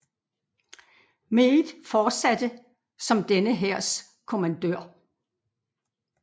Meade fortsatte som denne hærs kommandør